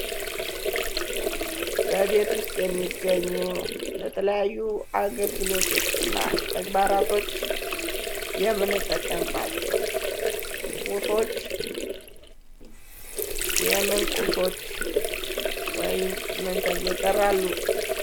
በቤት ውስጥ የሚገኙ ለተለያዩ አገልግሎቶችና ተግባራቶች የምንጠቀምባቸው ቁሶች የምን ቁሶች ወይም ምን ተብለው ይጠራሉ።